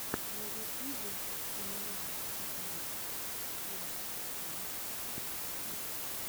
на ютубе ноа джей фор файв сикс